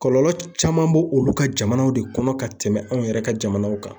Kɔlɔlɔ caman bo olu ka jamana de kɔnɔ ka tɛmɛ anw yɛrɛ ka jamanaw kan